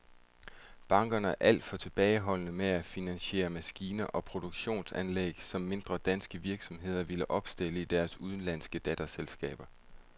Bankerne er alt for tilbageholdende med at finansiere maskiner og produktionsanlæg, som mindre danske virksomheder vil opstille i deres udenlandske datterselskaber.